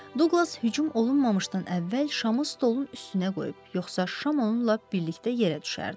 Duqlas hücum olunmamışdan əvvəl şamı stolun üstünə qoyub, yoxsa şam onunla birlikdə yerə düşərdi.